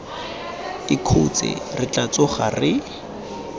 ikhutse re tla tsoga re